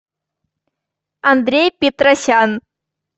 андрей петросян